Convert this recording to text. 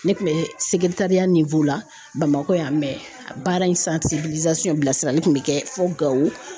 Ne kun bɛ Bamakɔ yan baara in bilasirali kun bɛ kɛ fo Gawo.